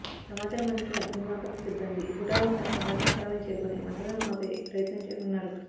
సమాచారం అందుకున్న అగ్నిమాపక సిబ్బంది హుటాహుటిన సంఘటనా స్థలానికి చేరుకొని మంటలను ఆపే ప్రయత్నం వున్నారు